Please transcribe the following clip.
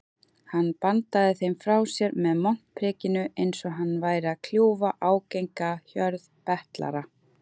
Hann bandaði þeim frá sér með montprikinu einsog hann væri að kljúfa ágenga hjörð betlara.